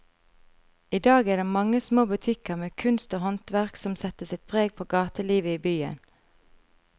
I dag er det de mange små butikkene med kunst og håndverk som setter sitt preg på gatelivet i byen.